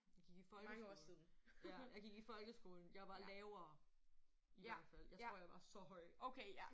Gik i folkeskolen. Ja. Jeg gik i folkeskolen. Jeg var lavere I hvert fald. Jeg tor jeg var så høj